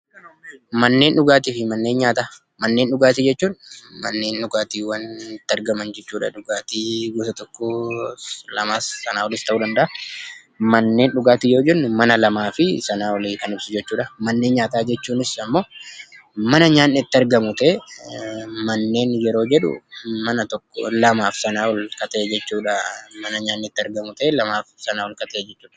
Manneen dhugaatiif manneen nyaataa. Manneen dhugaatii jechuun manneen dhugaatiiwwan itti argaman jechuu dha. Gosti dhugaatii tokkos, lamas jiraachuu danda'aa. Manneen dhugaatii yoo jennuu mana lamaa fi Sanaa ol kan ibsuu dha. Manneen nyaataa jechuunis mana nyaanni itti argamu ta'ee manneen yeroo jedhu mana lamaa fi Sanaa ol kan ta'e jechuu dha.